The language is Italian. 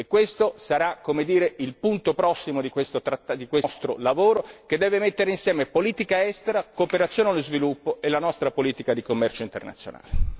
Questo sarà, come dire, il prossimo punto di questo nostro lavoro che deve mettere insieme politica estera, cooperazione allo sviluppo e la nostra politica di commercio internazionale.